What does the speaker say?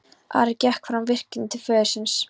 Ari gekk fram á virkið til föður síns.